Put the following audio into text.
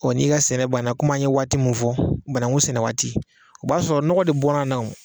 n'i ka sɛnɛ banna kɔmi an ye waati min fɔ, banakun sɛnɛ waati o b'a sɔrɔ nɔgɔ de bɔr'a na o